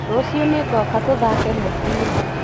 Rũciũ nĩngoka tũthake mũbira